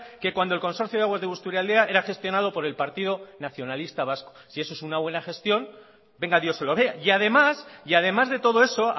que cuando el consorcio de aguas de busturialdea era gestionado por el partido nacionalista vasco si eso es una buena gestión que venga dios y lo vea y además de todo eso